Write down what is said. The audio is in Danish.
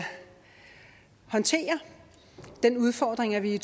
håndtere den udfordring at vi i